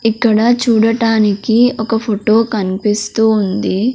ఇక్కడ చూడటానికి ఒక ఫోటో కనిపిస్తూ ఉంది.